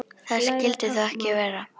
Það skyldi þó ekki vera.